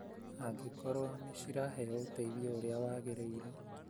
angĩkorũo nĩ ciraheo ũteithio ũrĩa wagĩrĩire,